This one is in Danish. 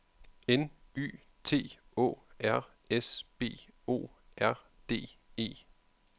N Y T Å R S B O R D E